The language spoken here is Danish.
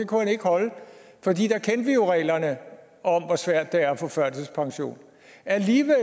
jo reglerne om hvor svært det er at få førtidspension alligevel